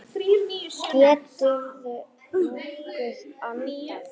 Geturðu nokkuð andað?